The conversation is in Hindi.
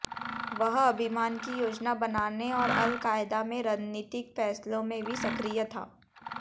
वह अभियान की योजना बनाने और अल कायदा में रणनीतिक फैसलों में भी सक्रिय था